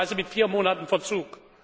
Möglicherweise mit vier Monaten Verzug.